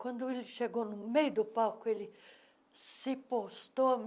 Quando ele chegou no meio do palco, ele se postou.